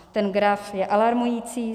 Ten graf je alarmující.